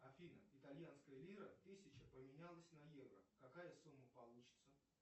афина итальянская лира тысяча поменялась на евро какая сумма получится